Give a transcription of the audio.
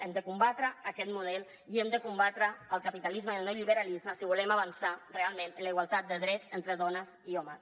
hem de combatre aquest model i hem de combatre el capitalisme i el neoliberalisme si volem avançar realment en la igualtat de drets entre dones i homes